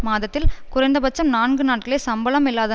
மாதத்தில் குறைந்த பட்சம் நான்கு நாட்களை சம்பளம் இல்லாத